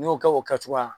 N'i y'o kɛ o kɛcogoya